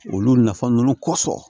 Olu nafa ninnu kosɔn